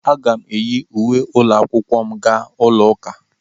Aga m eyi uwe ụlọ akwụkwọ m aga ụlọ ụka.